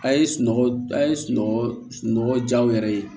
A' ye sunɔgɔ a ye sunɔgɔ jaw yɛrɛ ye